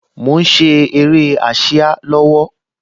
Mo ń ṣe eré ásíá lọ́wọ́